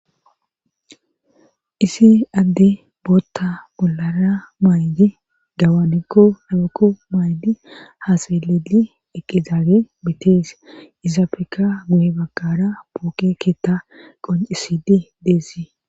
isi addey bootta bollara maydi gawaniko ayibekko maydi haa xeeledi eqqidaagey betees izafeka guhe bakara pooke keetta qoncisidi de'essi